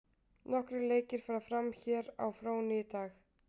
Nokkrir leiki fara fram hér á fróni í dag.